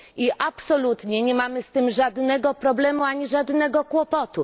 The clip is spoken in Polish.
I absolutnie nie mamy z tym żadnego problemu ani żadnego kłopotu.